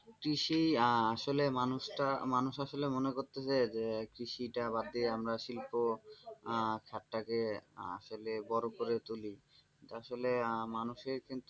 কৃষি আহ আসলে মানুষটা মানুষ আসলে মনে করতে চাই যে কৃষি টা বাদ দিয়ে আমরা শিল্প খাতটাকে আসলে বড় করে তুলি আসলে মানুষের কিন্তু,